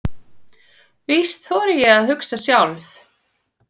Víst þori ég að hugsa sjálf.